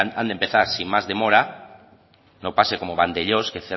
han de empezar sin más demora no pase como valdellós que